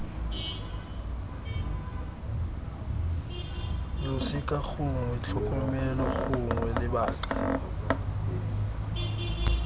losika gongwe tlhokomelo gongwe lebaka